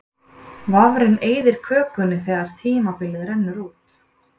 vafrinn eyðir kökunni þegar tímabilið rennur út